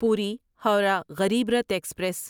پوری ہورہ غریب رتھ ایکسپریس